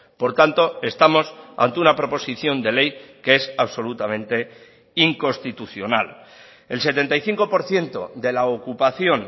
por tanto estamos ante una proposición de ley que es absolutamente inconstitucional el setenta y cinco por ciento de la ocupación